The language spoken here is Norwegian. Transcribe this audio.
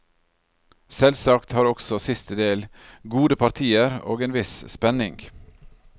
Selvsagt har også siste del gode partier, og en viss spenning.